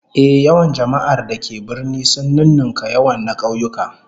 Ehh, yawan jama'ar da ke birni sun nunnunka yawan na kauyuka